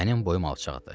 Mənim boyum alçaqdır.